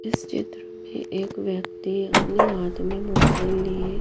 इस चित्र में एक व्यक्ति अपने हाथ में मोबाइल लिए--